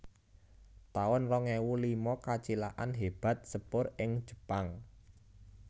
taun rong ewu lima Kacilakan hébat sepur ing Jepang